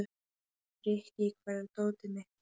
Frikki, hvar er dótið mitt?